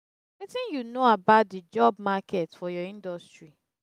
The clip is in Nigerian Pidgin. wetin you know about di job market for your industry?